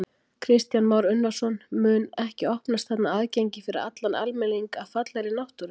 Kristján Már Unnarsson: Mun ekki opnast þarna aðgengi fyrir allan almenning að fallegri náttúru?